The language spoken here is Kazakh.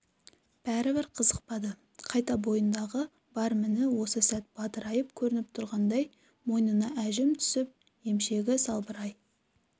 бәрібір қызықпады қайта бойындағы бар міні осы сәт бадырайып көрініп тұрғандай мойнына әжім түсіп емшегі салбырай